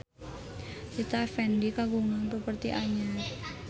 Rita Effendy kagungan properti anyar